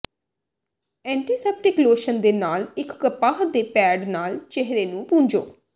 antiseptic lotion ਦੇ ਨਾਲ ਇੱਕ ਕਪਾਹ ਦੇ ਪੈਡ ਨਾਲ ਚਿਹਰੇ ਨੂੰ ਪੂੰਝੇ